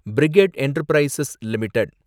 brigade Enterprises limited